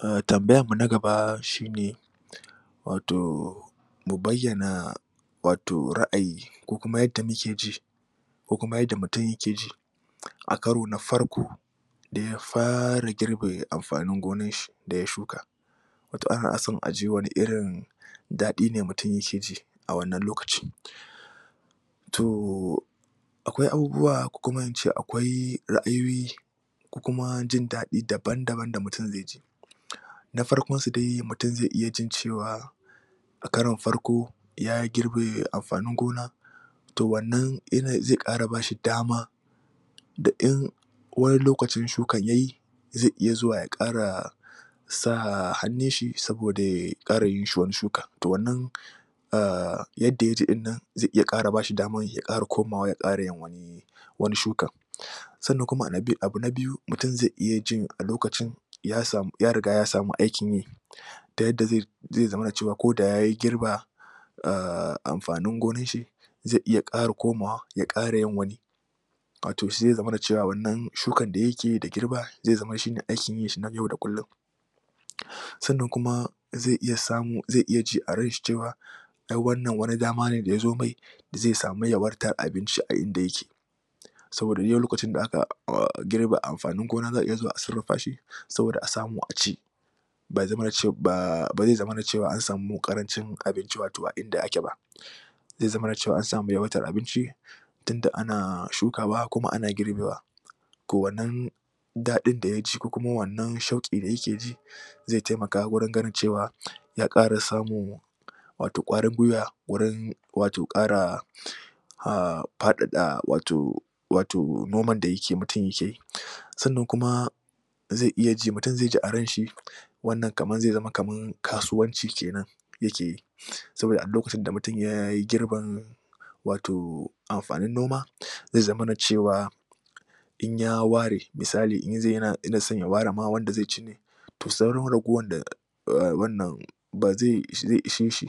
A tambayarmu na gaba shi ne wato mu bayyana wato ra'ayi ko kuma yadda muke ji ko kuma yadda mutum yake ji a karo na farko da ya fara girbe amfanin gonarshi da ya shuka. wato ana son aji wane irin daɗi ne mutum yake ji a wannan lokacin.n to akwai abubuwa ko kuma in ce akwai ra'ayoyi ko kuma jin daɗi dabam-daban da mutum zai ji Na farkonsu dai mutum zai iya jin cewa a karon farko ya girbe amfanin gona to wannan yana iya ƙara ba shi dama da in wani lokacin shukar ya yi zai iya zuwa ya ƙara sa hannun shi saboda ya ƙara yin wani shukan. To wannan a yadda ya ji ɗin nan zai iya ƙara ba shi damar ya ara komawa ya ƙara yin wani sannan kuma abu na biyu mutum zai iya jin a lokacin ya riga ya samu aikin yi ta yadda zai zamana cewa ko da ya girba a amfanin gonarshi zai iya ƙara komawa ya ƙara yin wani wato sai ya zamana cewar wannan shukar da yake yi da girba zai zama shine aikin yinshi na yau da kullum Sannan kuma zai iya samu, zai iya ji a ranshi cewa Ai wannan wani dama ne da ya zo mai, zai samu yawaitar abinci a inda yake. Saboda dai-dai lokacin da aka girbe amfanin gona za a iya zuwa a sarrafa shi saboda a samu a ci Ba zai zama cea an samu ƙarancin abinci a inda ake ba zai zamana cewa an samu yawaitar abinci tunda ana shukawa kuma ana girbewa. to wannan daɗin da ya ji ko kuma wannan shauƙin da yake ji zai taimaka wajen ganin cewa ya ƙara samun wato ƙwarin guiwa gurin wato ƙara a faɗaɗa wato wato noman da ke yi, mutum yake yi. zai iya ji, mutum zai ji a ranshi wannan kamar zai zama kamar kasuwanci ke nan yake yi. Saboda a duk lokacin da mutum ya yi girbin wato amfanin noma zai zamana cewa in ya ware misali in zai ya na son ya ware ma wanda zai ci ne to sauran ragowar a wannan ba zai, zai ishe shi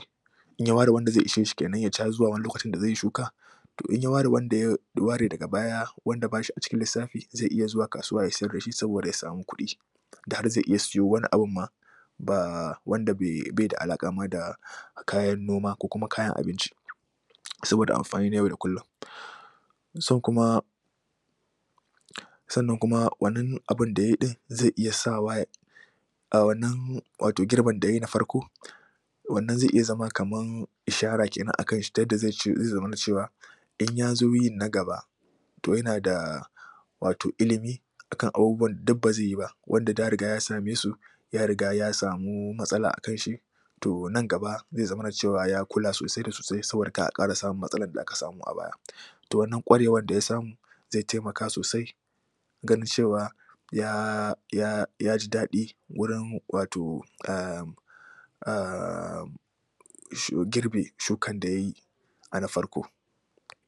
in ya ware wanda zai isheshi ke nan ya ci har zuwa lokacin da zai yi shuka. to in ya ware wanda zai, ware daga baya wanda ba shi a cikin lissafi zai iya zuwa kasuwa ya siyar da shi saboda ya samu kuɗi. Da har zai iya siyo wani abun ma. ba wanda bai da alaƙa ma da kayan noma ko kuma kayan abinci saboda amfani na yau da kullum. Sun kuma Sannan kuma wannan abun da ya yi ɗin zai iya sa wa ya a wannan girbin da ya yi na farko wannan zai iya zama kamar ishara a kanshi ta yadda zai zamana cewa in ya zo yin na gaba to yana da wato ilimi akan abubuwan da duk ba zai yi ba wanda da ya riga ya same su ya riga ya samu matsala a kanshi to nan gaba zai zamana cewa ya kula sosai sosai saboda kar a ƙara samun matsalar da aka samu a baya. To wannan ƙwarewan da ya samu zai taimaka sosaia ganin cewa ya ya yaji daɗi wurin wato a um girbi shukan da yayi a na farko.